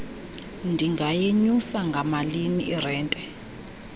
ndingayenyusa ngamalini irente